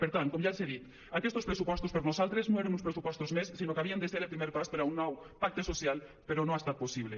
per tant com ja els he dit aquestos pressupostos per nosaltres no eren uns pressupostos més sinó que havien de ser el primer pas per a un nou pacte social però no ha estat possible